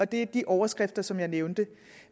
det er de overskrifter som jeg nævnte